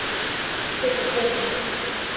Kryddið og sykrið.